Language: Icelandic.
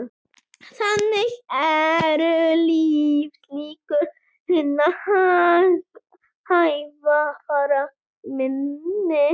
Þannig eru lífslíkur hinna hægfara minni